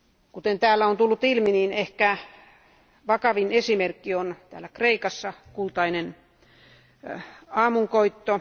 Kuten täällä on tullut ilmi, niin ehkä vakavin esimerkki on täällä Kreikassa Kultainen aamunkoitto.